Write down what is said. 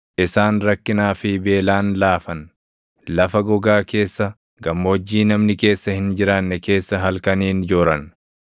Isaan rakkinaa fi beelaan laafan; lafa gogaa keessa, gammoojjii namni keessa hin jiraanne keessa halkaniin jooran.